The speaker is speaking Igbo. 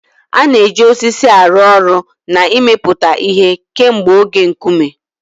A na-eji osisi arụ ọrụ na imepụta ihe kemgbe oge Nkume.